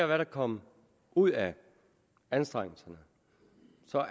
der er kommet ud af anstrengelserne